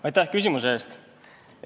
Aitäh küsimuse eest!